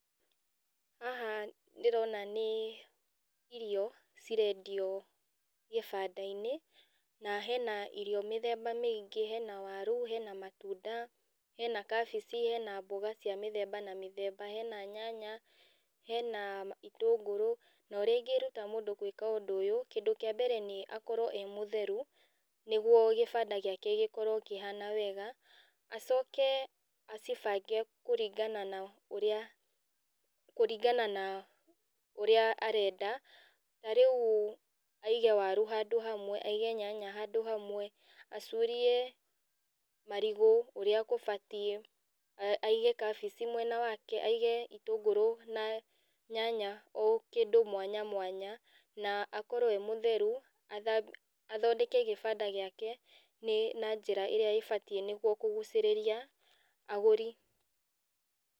Haha ndĩrona nĩ irio, cirendio gĩbandainĩ, na hena irio mĩthemba mĩingĩ, hena waru, hena matunda, hena kabici, hena mboga cia mĩthemba na mĩthemba, hena nyanya, hena ma itũngũrũ, na ũrĩa ingĩruta mũndũ gwĩka ũndũ ũyũ, kindũ kĩa mbere nĩ akorwa e mũtheru, nĩguo kĩbanda gĩake gĩkorwo kĩhana wega, acoke acibange kũringana na ũrĩa kũringana na ũrĩa arenda, na rĩu aige waru handũ hamwe, aige nyanya handũ hamwe, acurie marigũ ũrĩa kũbatiĩ, a aige kabici mwena wake, aige itũngũrũ na nyanya o kĩndũ mwanyamwanya, na akorwo e mũtheru, athambi athondeke gĩbanda gĩake, na njĩra ĩrĩa ĩbatiĩ nĩguo kũgucĩrĩria agũri.